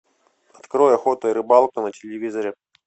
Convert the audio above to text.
открой охота и рыбалка на телевизоре